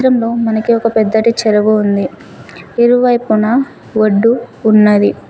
చిత్రంలో మనకి ఒక పెద్దటి చెరువు ఉంది ఇరువైపున ఒడ్డు ఉన్నది.